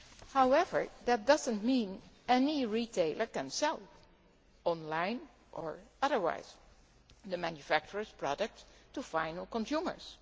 However, that does not mean any retailer can sell on line or otherwise the manufacturer's products to final consumers.